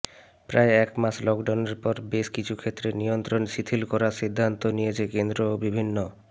প্রায় একমাস লকডাউনের পর বেশ কিছু ক্ষেত্রে নিয়ন্ত্রণ শিথিল করার সিদ্ধান্ত নিয়েছে কেন্দ্র ও বিভিন্ন